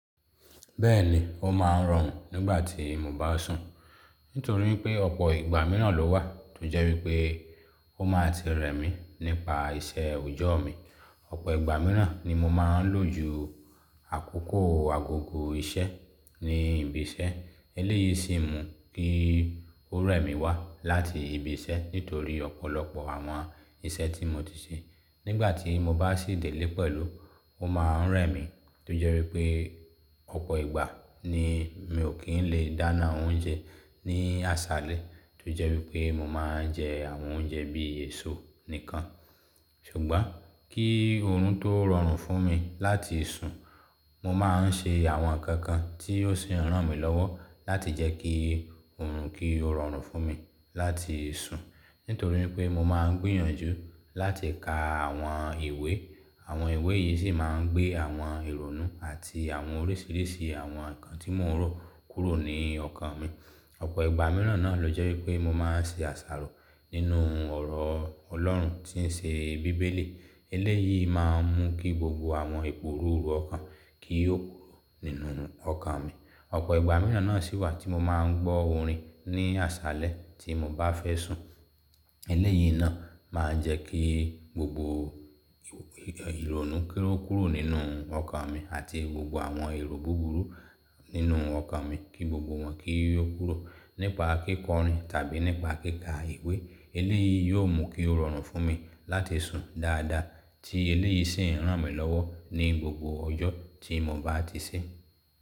Bẹ́ẹ̀ni, ó máa ń rọrùn nígbà tí mo bá sùn. Nítorí pé ọ̀pọ̀ ìgbà mìíràn ló wà tó jẹ́ wípé ó máa ti rẹ̀ mí nípa iṣẹ́ òjọ́ mi. Ọ̀pọ̀ ìgbà mìíràn ni mo máa ń lò ju àkókò agogo iṣẹ́ ní ibi iṣẹ́, eléyìí sì mú kí ó rẹ́ mi wá láti ibi iṣẹ́ nítorí ọ̀pọ̀lọpọ̀ àwọn iṣẹ́ tí mo ti ṣe. Nígbà tí mo bá sì dé lé pẹ̀lú, ó máa ń rẹ́ mi tó jẹ́ wípé, ọ̀pọ̀ ìgbà ni mi ò kí ń lè dáná oúnjẹ ní àṣálẹ́ tó jẹ́ wípé mo máa ń jẹ àwọn oúnjẹ bí èso nìkan. Ṣùgbọ́n kí oorun tó rọrùn fún mi láti sùn, mo máa ń ṣe àwọn nǹkan kan tí ó sì ń ràn mí lọ́wọ́ láti jẹ́ kí oorun kí ó rọrùn fún mi láti sùn. Nítorí pé mo máa ń gbìyànjú láti ka àwọn ìwé. Àwọn ìwé yìí sì máa ń gbé àwọn ìrònú àti àwọn oríṣiríṣi àwọn nǹkan tí mò ń rò kúrò ní ọkàn mi. Ọ̀pọ̀ ìgbà mìíràn náà ló jẹ́ wípé mo máa ń ṣe àṣàrò nínú ọ̀rọ̀ Ọlọ́run tí ń ṣe bíbélì. Eléyìí máa ń mú kí gbogbo àwọn epo rúru ọkàn kí ó kúrò nínú ọkàn mi. Ọ̀pọ̀ ìgbà mìíràn náà sì wà tí mo máa ń gbọ́ orin ní àṣálẹ́ tí mo bá fẹ́ sùn. Eléyìí náà máa ń jẹ́ kí gbogbo ìrònú kí ó kúrò nínú ọkàn mi àti gbogbo àwọn èrò búburú nínú ọkàn mi kí gbogbo wọn kí ó kúrò nípa kíkọrin tàbí nípa kíkà ìwé. Eléyìí yóò mú kí ó rọrùn fún mi láti sùn dáadáa tí eléyìí sì ń ràn mí lọ́wọ́ ní gbogbo ọjọ́ tí mo bá ti ṣe.